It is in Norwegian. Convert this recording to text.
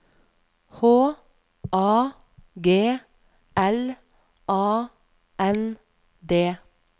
H A G L A N D